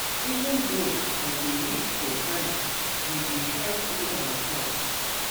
Even though I dey live for Kano we dey try see ourselves.